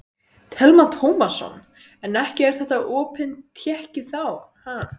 Telma Tómasson: En ekki er þetta opin tékki þá?